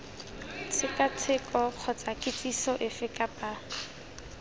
tshekatsheko kgotsa kitsiso efe kapa